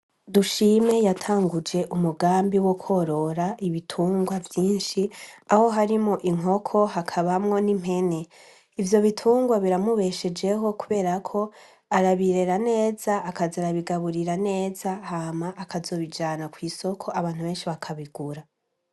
Dushime yatanguje umugambi wo kworora ibitungwa vyinshi aho harimo inkoko hakabamwo n'impene ivyo bitungwa biramubeshejeho kuberako arabirera neza akaza arabigaburira neza hama akazobijana kw'isoko abantu benshi bakabigura.